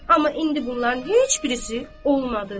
Amma indi bunların heç birisi olmadı.